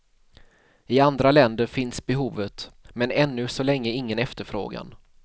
I andra länder finns behovet, men ännu så länge ingen efterfrågan.